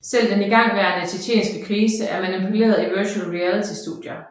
Selv den igangværende tjetjenske krise er manipuleret i Virtual Reality studier